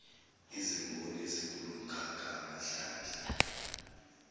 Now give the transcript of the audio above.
izimboni ezikulomkhakha amahlandla